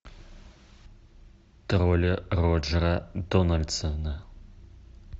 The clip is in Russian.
тролли роджера дональдсона